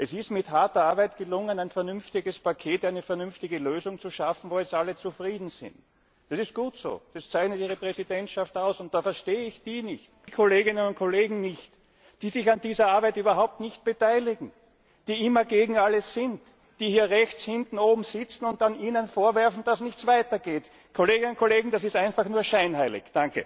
Es ist mit harter Arbeit gelungen, ein vernünftiges Paket, eine vernünftige Lösung zu schaffen, womit jetzt alle zufrieden sind. Das ist gut so, das zeichnet Ihre Präsidentschaft aus, und da verstehe ich die Kolleginnen und Kollegen nicht, die sich an dieser Arbeit überhaupt nicht beteiligen, die immer gegen alles sind, die hier rechts hinten oben sitzen und Ihnen dann vorwerfen, dass nichts weitergeht. Kolleginnen und Kollegen, das ist einfach nur scheinheilig.